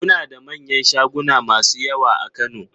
Muna da manyan shaguna masu yawa a Kano